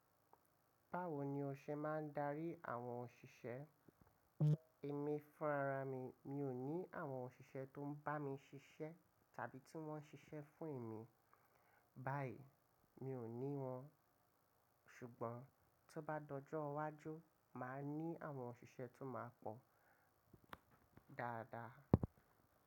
Báwo ni o ṣe máa ń darí àwọn òṣìṣẹ́? Èmi fún ara mi, mi ò ní àwọn òṣìṣẹ́ tó ń bá mi ṣiṣẹ́ tàbí tí wọ́n ń ṣiṣẹ́ fún èmi. Báyìí mi ò ní wọn, ṣùgbọ́n tó bá dojówàjú máa ní àwọn òṣìṣẹ́ tó máa pọ̀ dáadáa.